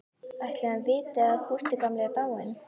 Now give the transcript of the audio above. Ætli hann viti að Gústi gamli er dáinn?